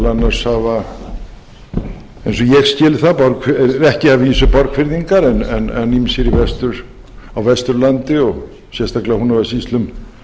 annars hafa eins og ég skil það ekki að vísu borgfirðingar en ýmsir á vesturlandi og sérstaklega í húnavatnssýslum